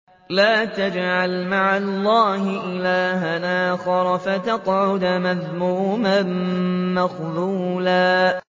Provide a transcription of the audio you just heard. لَّا تَجْعَلْ مَعَ اللَّهِ إِلَٰهًا آخَرَ فَتَقْعُدَ مَذْمُومًا مَّخْذُولًا